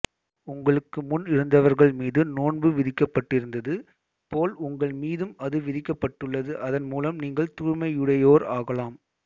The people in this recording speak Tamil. உங்களுக்கு முன் இருந்தவர்கள் மீது நோன்பு விதிக்கப்பட்டிருந்தது போல் உங்கள் மீதும்அது விதிக்கப்பட்டுள்ளது அதன் மூலம் நீங்கள் தூய்மையுடையோர் ஆகலாம்